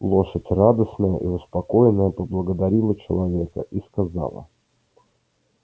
лошадь радостная и успокоенная поблагодарила человека и сказала